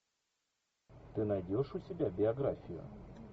ты найдешь у себя биографию